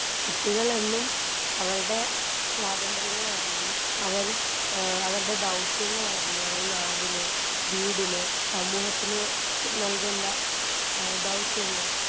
കുട്ടികളെന്നും അവർടെ സ്വാതന്ത്രങ്ങളറിഞ്ഞ് അവര് ഏ അവർടെ ദൗത്യങ്ങളറിഞ്ഞ് അവര് നാടിന് വീടിന് സമൂഹത്തിന് നൽകേണ്ട ഏ ദൗത്യങ്ങൾ.